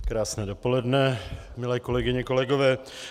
Krásné dopoledne, milé kolegyně, kolegové.